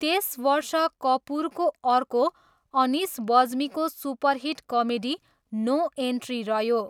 त्यस वर्ष कपुरको अर्को अनिस बज्मीको सुपरहिट कमेडी नो एन्ट्री रह्यो।